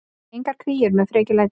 Engar kríur með frekjulæti.